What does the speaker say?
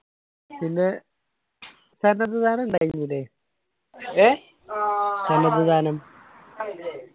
പിന്നെ ദാനം ഉണ്ടായിരുന്നില്ലേ ദാനം